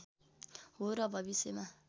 हो र भविष्यमा